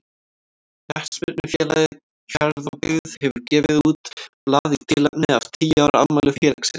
Knattspyrnufélagið Fjarðabyggð hefur gefið út blað í tilefni af tíu ára afmæli félagsins.